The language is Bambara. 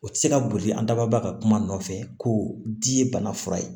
O tɛ se ka boli an daba ka kuma nɔ nɔfɛ ko di ye bana fura ye